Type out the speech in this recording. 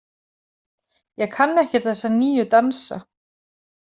Ég kann ekkert þessa nýju dansa